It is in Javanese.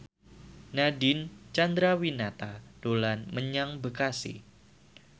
Nadine Chandrawinata dolan menyang Bekasi